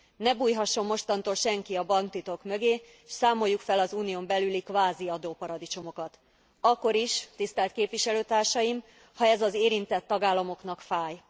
Ne bújhasson mostantól senki a banktitok mögé s számoljuk fel az Unión belüli kvázi adóparadicsomokat. Akkor is, tisztelt képviselőtársaim, ha ez az érintett tagállamoknak fáj.